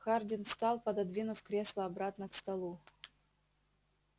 хардин встал пододвинув кресло обратно к столу